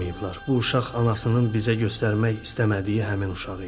Bu uşaq anasının bizə göstərmək istəmədiyi həmin uşaq idi.